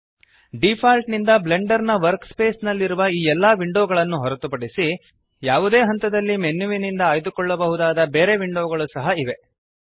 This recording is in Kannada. ಡಿಫಾಲ್ಟ್ ನಿಂದ ಬ್ಲೆಂಡರ್ನ ವರ್ಕಸ್ಪೇಸ್ ನಲ್ಲಿರುವ ಈ ಎಲ್ಲಾ ವಿಂಡೋಗಳನ್ನು ಹೊರತುಪಡಿಸಿ ಯಾವುದೇ ಹಂತದಲ್ಲಿ ಮೆನ್ಯುನಿಂದ ಆಯ್ದುಕೊಳ್ಳಬಹುದಾದ ಬೇರೆ ವಿಂಡೋಗಳು ಸಹ ಇವೆ